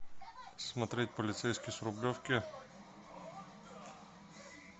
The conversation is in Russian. смотреть полицейский с рублевки